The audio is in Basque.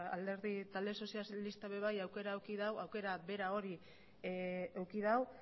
talde sozialistak ere aukera bera hori eduki dau